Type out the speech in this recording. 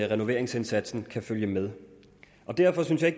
renoveringsindsatsen kan følge med og derfor synes jeg